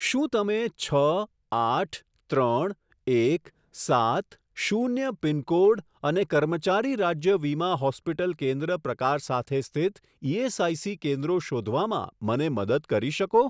શું તમે છ આઠ ત્રણ એક સાત શૂન્ય પિનકોડ અને કર્મચારી રાજ્ય વીમા હોસ્પિટલ કેન્દ્ર પ્રકાર સાથે સ્થિત ઇએસઆઇસી કેન્દ્રો શોધવામાં મને મદદ કરી શકો?